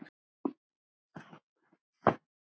Enn fannst gott ráð.